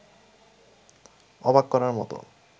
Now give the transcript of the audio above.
অবাক করার মতো